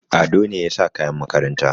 Ado ne ya sa kayan makaranta.